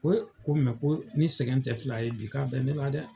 He ! ko ko ni sɛgɛn te fila ye bi ka be ne la dɛ!